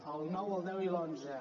el nou el deu i l’onze